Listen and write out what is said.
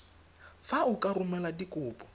fa o ka romela dikopo